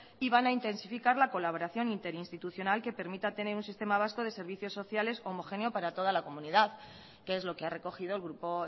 y van a intensificar la colaboración interinstitucional que permite tener un sistema vasco de servicios sociales homogéneo para toda la comunidad que es lo que ha recogido el grupo